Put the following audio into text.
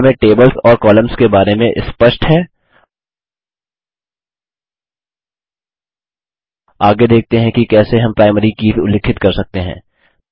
अब हमें टेबल्स और कॉलम्स के बारे में स्पष्ट है आगे देखते हैं कि कैसे हम प्राइमरी कीज़ उल्लिखित कर सकते हैं